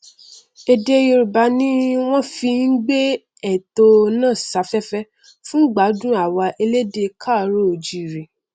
èdè yorùbá ni wọn fi n gbé ètò náà safẹfẹ fún ìgbádùn àwa elédè káàárọoòjíire